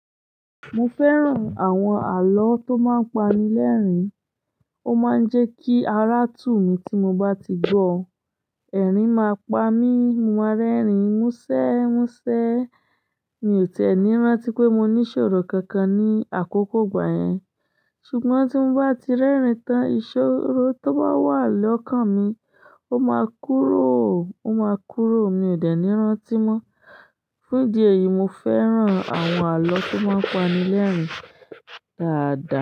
Mo fẹ́ràn àwọn àlọ́ tó máa ń pani lẹ́rìn-ín, ó máa ń jẹ́ kí ará tù mí tí mo bá ti gbọ́. Ẹ̀rín máa pa mí, mo máa rẹ́rìn-ín, mú ṣé, mú ṣé. Mi ò tẹ́ni rántí pé mo ní ìṣòro kankan ní àkókò ìgbà yẹn. Ṣùgbọ́n tí mo bá ti rẹ́rìn-ín tán, ìṣòro tó bá wà lọ́kàn mi, ó máa kúrò, ó máa kúrò, mi ò dẹ̀ní rántí mọ́. Fún ìdí èyí, mo fẹ́ràn àwọn àlọ́ tó máa ń pani lẹ́rìn-ín dáadáa.